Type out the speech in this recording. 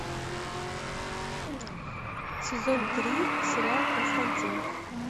сезон три сериал константин